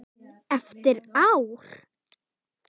Eftir ár?